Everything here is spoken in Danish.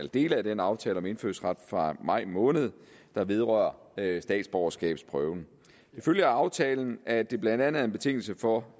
dele af den aftale om indfødsret fra maj måned der vedrører statsborgerskabsprøven det følger af aftalen at det blandt andet er en betingelse for